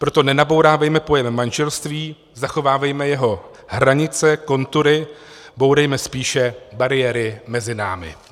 Proto nenabourávejme pojem manželství, zachovávejme jeho hranice, kontury, bourejme spíše bariéry mezi námi.